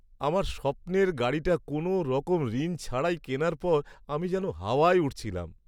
আমার স্বপ্নের গাড়িটা কোনওরকম ঋণ ছাড়াই কেনার পর আমি যেন হাওয়ায় উড়ছিলাম।